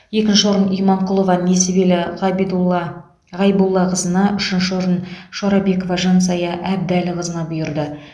екінші орын иманқұлова несібелі ғабидулла ғайбуллақызына үшінші орын шорабекова жансая әбдіәліқызына бұйырды